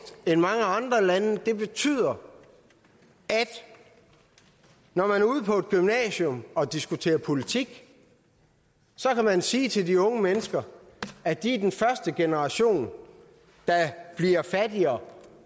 end mange andre lande det betyder at når man er ude på et gymnasium og diskuterer politik så kan man sige til de unge mennesker at de er den første generation der bliver fattigere